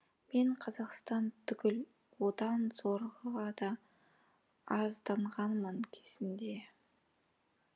мен қазақстан түгіл одан зорғыға да арызданғанмын кезінде